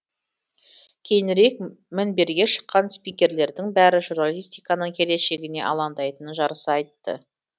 кейінірек мінберге шыққан спикерлердің бәрі журналистиканың келешегіне алаңдайтынын жарыса айтты